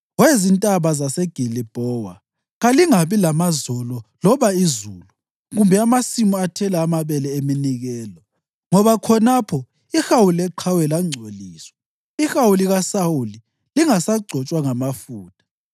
We zintaba zaseGilibhowa, kalingabi lamazolo loba izulu, kumbe amasimu athela amabele eminikelo. Ngoba khonapho ihawu leqhawe langcoliswa, ihawu likaSawuli, lingasagcotshwa ngamafutha.